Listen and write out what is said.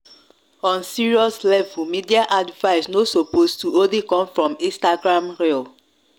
on serious levelmedia advice no suppose to only come from instagram reels